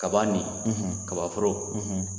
Kaban nin kabaforo